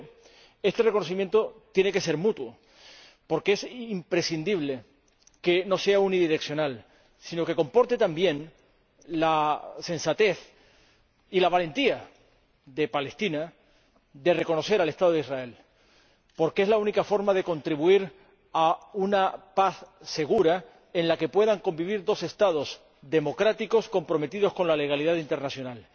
Pero este reconocimiento tiene que ser mutuo, porque es imprescindible que no sea unidireccional, sino que comporte también la sensatez y la valentía de Palestina de reconocer al Estado de Israel, porque es la única forma de contribuir a una paz segura en la que puedan convivir dos Estados democráticos, comprometidos con la legalidad internacional.